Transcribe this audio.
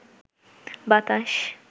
বাতাস